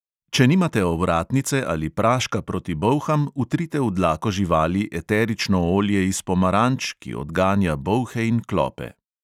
Če nimate ovratnice ali praška proti bolham, vtrite v dlako živali eterično olje iz pomaranč, ki odganja bolhe in klope.